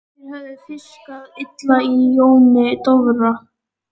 Þeir höfðu fiskað illa á Jóni Dofra.